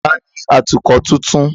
Ta ni atukọ̀ tuntun?